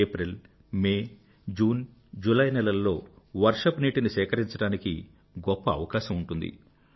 April May June July నెలలలో వర్షపునీటిని సేకరించడానికి గొప్ప అవకాశం ఉంటుంది